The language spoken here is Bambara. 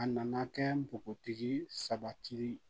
A nana kɛ npogotigi ye